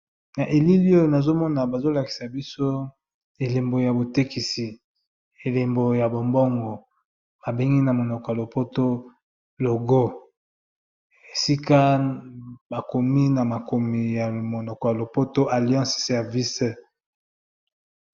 Na elili oyo nazo mona bazo lakisa biso elembo ya botekisi, elembo ya bombongo ba bengi na monoko ya lopoto logo esika bakomi na makomi ya monoko ya lopoto alliance service.